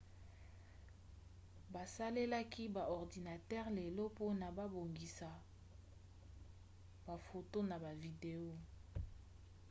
basalelaka ba ordinatere lelo mpona kobongisa bafoto na bavideo